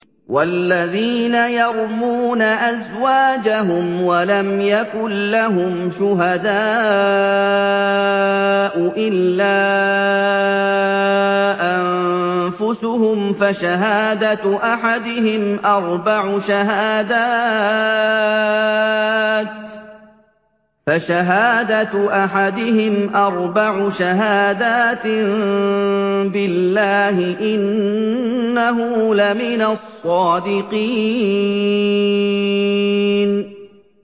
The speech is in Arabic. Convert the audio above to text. وَالَّذِينَ يَرْمُونَ أَزْوَاجَهُمْ وَلَمْ يَكُن لَّهُمْ شُهَدَاءُ إِلَّا أَنفُسُهُمْ فَشَهَادَةُ أَحَدِهِمْ أَرْبَعُ شَهَادَاتٍ بِاللَّهِ ۙ إِنَّهُ لَمِنَ الصَّادِقِينَ